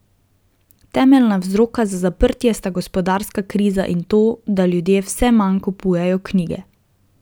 Temeljna vzroka za zaprtje sta gospodarska kriza in to, da ljudje vse manj kupujejo knjige.